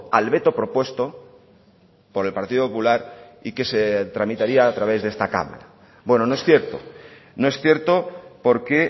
al veto propuesto por el partido popular y que se tramitaría a través de esta cámara bueno no es cierto no es cierto porque